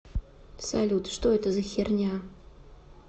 салют что это за херня